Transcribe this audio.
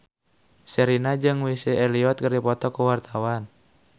Sherina jeung Missy Elliott keur dipoto ku wartawan